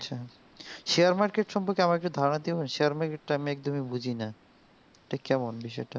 share market সম্পকর্কে আমার ধারণাটা share market সমন্ধে আমি বুঝিনা তা কেমন বিষয়টা